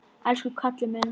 Elsku Kalli minn!